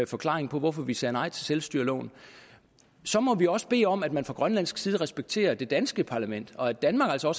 forklaring på hvorfor vi sagde nej til selvstyreloven så må vi også bede om at man fra grønlandsk side respekterer det danske parlament og at danmark altså